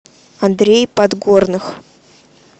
андрей подгорных